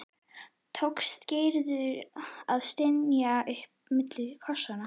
tókst Gerði að stynja upp milli kossanna.